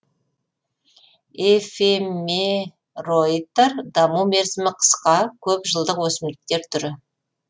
эфемероидтар даму мерзімі қысқа көп жылдық өсімдіктер түрі